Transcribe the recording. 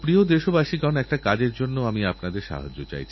যখনস্বাস্থ্য সম্বন্ধীয় কথা হচ্ছে আমি আরেকটি কথা এর সঙ্গে যোগ করতে চাই